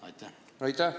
Aitäh!